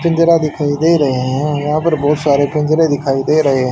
पिंजरा दिखाई दे रहे हैं यहां पर बहुत सारे पिंजरे दिखाई दे रहे हैं।